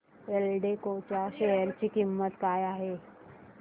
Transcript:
एल्डेको च्या शेअर ची किंमत काय आहे